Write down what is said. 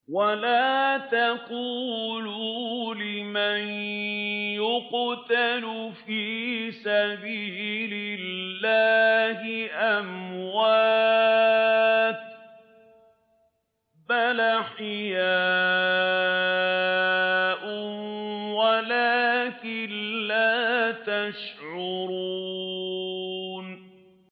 وَلَا تَقُولُوا لِمَن يُقْتَلُ فِي سَبِيلِ اللَّهِ أَمْوَاتٌ ۚ بَلْ أَحْيَاءٌ وَلَٰكِن لَّا تَشْعُرُونَ